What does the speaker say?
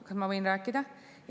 Kas ma võin rääkida?